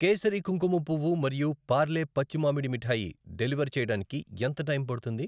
కేసరి కుంకుమ పువ్వు మరియు పార్లే పచ్చి మామిడి మిఠాయి డెలివర్ చేయడానికి ఎంత టైం పడుతుంది?